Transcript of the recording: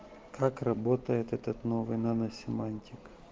как работает этот новый наносемантика